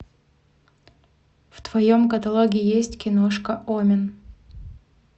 в твоем каталоге есть киношка омен